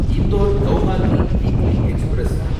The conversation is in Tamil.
Indore Guwahati weekly express